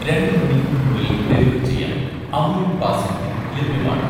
രണ്ട് മണിക്കൂറിനുള്ളിൽ ഡെലിവർ ചെയ്യാൻ 'അമുൽ' ബാസുന്തി ലഭ്യമാണോ?